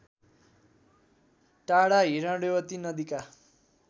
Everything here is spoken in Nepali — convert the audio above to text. टाढा हिरण्यवती नदीका